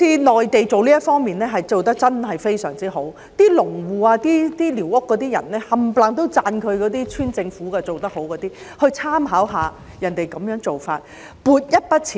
內地在這一方面真的做得非常好，農戶及寮屋居民都讚許村政府做得很好，香港政府可以參考內地的做法。